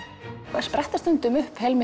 það spretta stundum upp